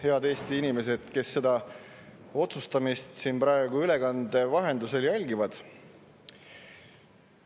Head Eesti inimesed, kes seda otsustamist praegu ülekande vahendusel jälgivad!